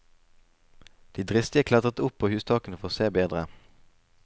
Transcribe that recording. De dristige klatret opp på hustakene for å se bedre.